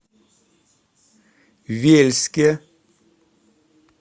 вельске